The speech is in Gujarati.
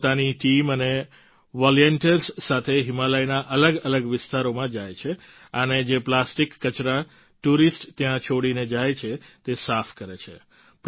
તેઓ પોતાની ટીમ અને વોલેન્ટિયર્સ સાથે હિમાલયના અલગઅલગ વિસ્તારોમાં જાય છે અને જે પ્લાસ્ટિક કચરા ટૂરિસ્ટ ત્યાં છોડીને જાય છે તે સાફ કરે છે